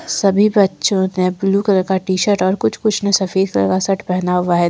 सभी बच्चों ने ब्लू कलर का टी शर्ट और कुछ कुछ में सफेद सलवार शर्ट पहना हुआ है।